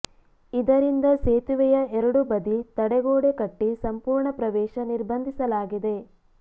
ಇದರಿಂದ ಸೇತುವೆಯ ಎರಡೂ ಬದಿ ತಡೆಗೋಡೆ ಕಟ್ಟಿ ಸಂಪೂರ್ಣ ಪ್ರವೇಶ ನಿರ್ಬಂಧಿಸಲಾಗಿದೆ